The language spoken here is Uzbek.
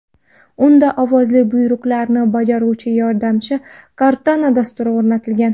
Unda ovozli buyruqlarni bajaruvchi-yordamchi Cortana dasturi o‘rnatilgan.